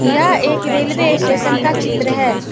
यह एक railway station का चित्र है।